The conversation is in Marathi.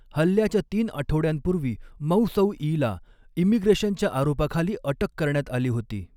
हल्ल्याच्या तीन आठवड्यांपूर्वी मौसौईला इमिग्रेशनच्या आरोपाखाली अटक करण्यात आली होती.